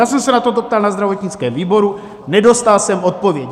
Já jsem se na toto ptal na zdravotnickém výboru, nedostal jsem odpověď.